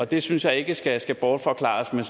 det synes jeg ikke skal skal bortforklares med